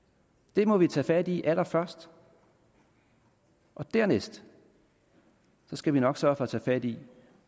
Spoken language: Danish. det må vi tage fat i allerførst og dernæst skal vi nok sørge for at tage fat i